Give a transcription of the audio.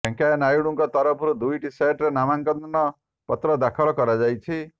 ଭେଙ୍କେୟା ନାଇଡ଼ୁଙ୍କ ତରଫରୁ ଦୁଇଟି ସେଟରେ ନାମାଙ୍କନ ପତ୍ର ଦାଖଲ କରାଯାଇଛି